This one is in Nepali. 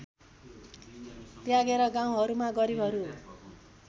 त्यागेर गाउँहरूमा गरिबहरू